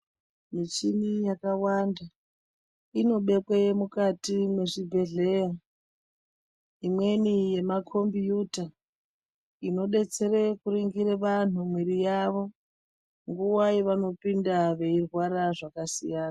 Michini yakawanda, inobekwe mukati mwezvibhedhleya. Imweni yemakombiyuta, inodetsere kuringire vanhu mwiri yavo. Nguva yevanopinda, veyirwara zvakasiyana.